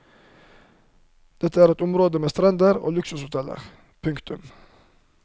Dette er et område med strender og luksushoteller. punktum